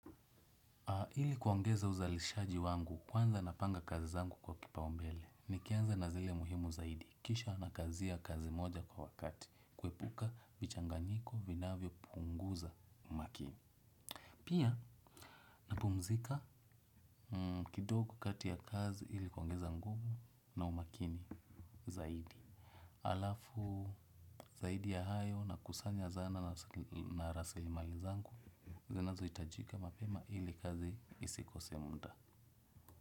Ili kwongeza uzalishaji wangu kwanza napanga kazi zangu kwa kipaumbele. Nikianza na zile muhimu zaidi. Kisha nakazia kazi moja kwa wakati. Kuepuka vichanganyiko vinavyo punguza umakini. Pia napumzika kidogo kati ya kazi ili kwongeza nguvu na umakini zaidi. Alafu zaidi ya hayo nakusanya zana na raselimali zangu. Zinazo hitajika mapema ili kazi isikose muda.